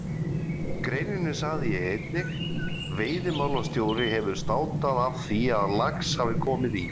greininni sagði ég einnig: Veiðimálastjóri hefur státað af því að lax hafi komið í